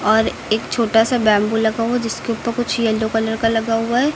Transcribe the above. और एक छोटा सा बैंबू लगा हुआ है जिसके ऊपर कुछ येलो कलर का लगा हुआ है।